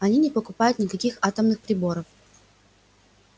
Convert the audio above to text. они не покупают никаких атомных приборов